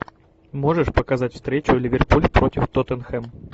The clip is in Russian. можешь показать встречу ливерпуль против тоттенхэм